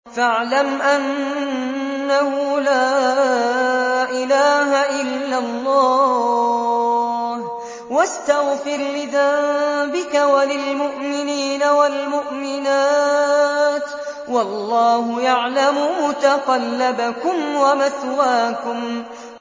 فَاعْلَمْ أَنَّهُ لَا إِلَٰهَ إِلَّا اللَّهُ وَاسْتَغْفِرْ لِذَنبِكَ وَلِلْمُؤْمِنِينَ وَالْمُؤْمِنَاتِ ۗ وَاللَّهُ يَعْلَمُ مُتَقَلَّبَكُمْ وَمَثْوَاكُمْ